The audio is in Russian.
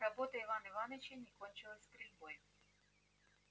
работа ивана иваныча не кончилась стрельбой